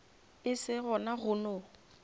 e se gona go no